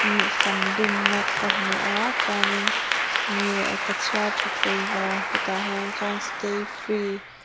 sam dumna ka hmua chuanin engnge ka chhiar ṭha theilo hetah hian chuan stayfree --